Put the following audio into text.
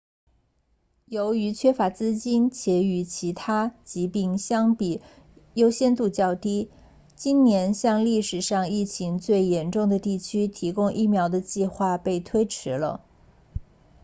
由于缺乏资金且与其他疾病相比优先级较低今年向历史上疫情最严重的地区提供疫苗的计划被推迟了